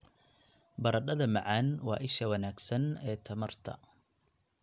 Baradhada macaan waa isha wanaagsan ee tamarta